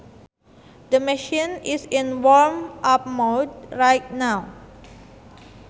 The machine is in warm up mode right now